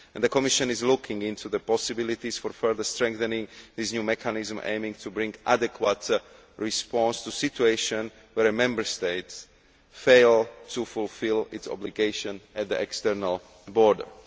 The Commission is looking into the possibilities for further strengthening this new mechanism aiming to bring an adequate response to a situation where a Member State fails to fulfil its obligations at the external borders.